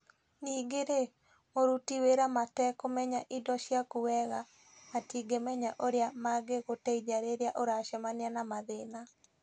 Ningĩ-rĩ, mũruti wĩra matekũmenya indo ciaku wega, matingĩmenya ũrĩa mangĩgũteithia rĩrĩa ũracemania na mathĩna.